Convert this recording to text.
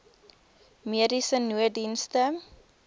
mediese nooddienste